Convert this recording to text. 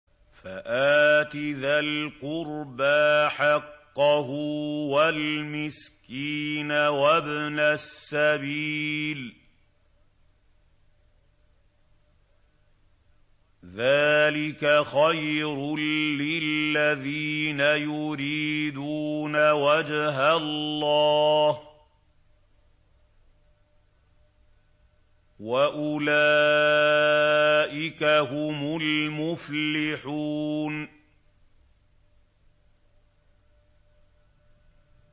فَآتِ ذَا الْقُرْبَىٰ حَقَّهُ وَالْمِسْكِينَ وَابْنَ السَّبِيلِ ۚ ذَٰلِكَ خَيْرٌ لِّلَّذِينَ يُرِيدُونَ وَجْهَ اللَّهِ ۖ وَأُولَٰئِكَ هُمُ الْمُفْلِحُونَ